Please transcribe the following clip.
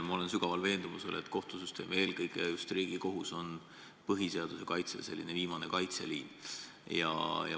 Ma olen sügavalt veendunud, et kohtusüsteem, eelkõige just Riigikohus, on põhiseaduse kaitse viimane kaitseliin.